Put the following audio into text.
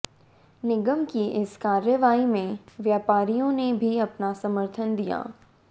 निगम की इस कार्रवाई में व्यापारियों ने भी अपना समर्थन दिया